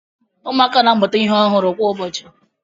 Ụmụaka na-amụta ihe ọhụrụ kwa ụbọchị